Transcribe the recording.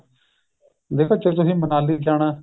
ਦੇਖੋ ਜੇ ਤੁਸੀਂ ਮਨਾਲੀ ਜਾਣਾ